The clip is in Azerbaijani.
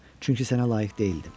Çünki sənə layiq deyildim.